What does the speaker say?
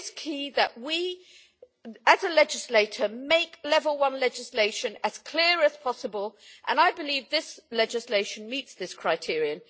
it is key that we, as a legislator, make level 1 legislation as clear as possible, and I believe this legislation meets this criterion.